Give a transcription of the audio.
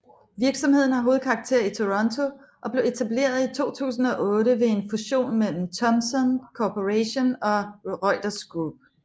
Virksomheden har hovedkvarter i Toronto og blev etableret i 2008 ved en fusion mellem Thomson Corporation og Reuters Group